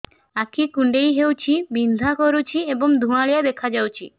ଆଖି କୁଂଡେଇ ହେଉଛି ବିଂଧା କରୁଛି ଏବଂ ଧୁଁଆଳିଆ ଦେଖାଯାଉଛି